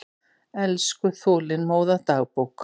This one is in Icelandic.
Elsku, þolinmóða dagbók!